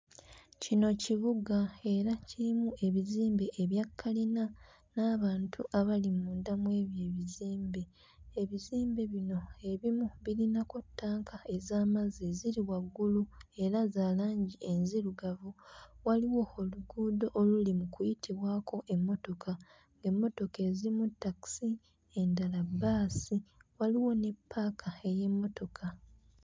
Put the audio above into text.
Kino kibuga era kirimu ebizimbe ebya kkalina n'abantu abali munda mu ebyo ebizimbe, ebizimbe bino ebimu birinako ttanka ez'amazzi eziri waggulu era za langi enzirugavu, waliwo oluguudo oluli mu kuyitibwako emmotoka, emmotoka ezimu takisi endala bbaasi, waliwo ne ppaaka ey'emmotoka.